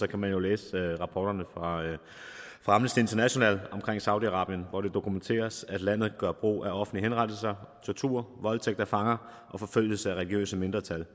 kan man jo læse rapporterne fra amnesty international om saudi arabien hvor det dokumenteres at landet gør brug af offentlige henrettelser tortur voldtægt af fanger forfølgelse af religiøse mindretal